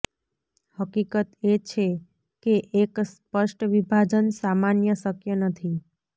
હકીકત એ છે કે એક સ્પષ્ટ વિભાજન સામાન્ય શક્ય નથી